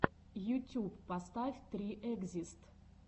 ютюб поставь три экзист